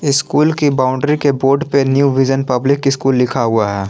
ये स्कूल की बाउंड्री के बोर्ड पे न्यू विजन पब्लिक स्कूल लिखा हुआ है।